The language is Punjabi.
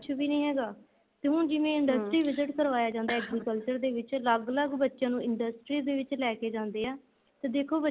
ਕੁੱਛ ਵੀ ਨਹੀਂ ਹੈਗਾ ਤੇ ਹੁਣ ਜਿਵੇਂ industry visit ਕਰਵਾਇਆ ਜਾਂਦਾ ਏ agriculture ਦੇ ਵਿੱਚ ਅਲੱਗ ਅਲੱਗ ਬੱਚਿਆ ਨੂੰ industry ਵਿੱਚ ਲੈਕੇ ਜਾਂਦੇ ਆ ਤਾਂ ਦੇਖੋ